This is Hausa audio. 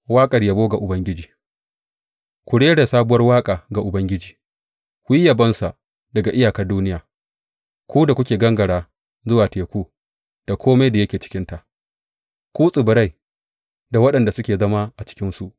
Waƙar yabo ga Ubangiji Ku rera sabuwar waƙa ga Ubangiji, ku yi yabonsa daga iyakar duniya, ku da kuka gangara zuwa teku, da kome da yake cikinsa, ku tsibirai, da waɗanda suke zama a cikinsu.